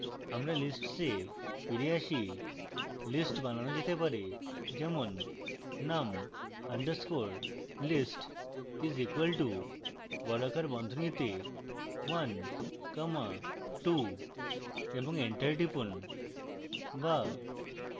আমাদের lists এ ফিরে আসি list বানানো যেতে press যেমন num underscore list is equal to বর্গাকার বন্ধনীতে one comma two এবং enter টিপুন be